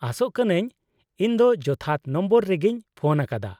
-ᱟᱥᱚᱜ ᱠᱟᱹᱱᱟᱹᱧ ᱤᱧ ᱫᱚ ᱡᱚᱛᱷᱟᱛ ᱱᱚᱢᱵᱚᱨ ᱨᱮᱜᱤᱧ ᱯᱷᱳᱱ ᱟᱠᱟᱫᱟ ᱾